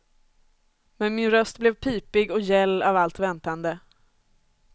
Men min röst blev pipig och gäll av allt väntande.